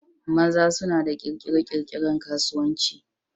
maza suna da kirkire-kirkiren kasuwanci